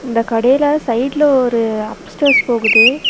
இந்த கடேல சைடுல ஒரு அப்ஸடஸ் போகுது.